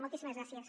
moltíssimes gràcies